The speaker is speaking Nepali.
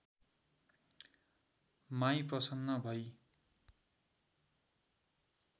माई प्रशन्न भई